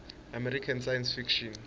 american science fiction